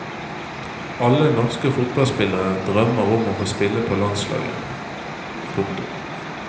Alle norske fotballspillere drømmer om å få spille på landslaget. punktum